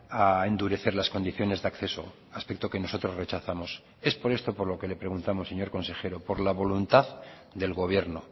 a endurecer las condiciones de acceso aspecto que nosotros rechazamos es por esto por lo que le preguntamos señor consejero por la voluntad del gobierno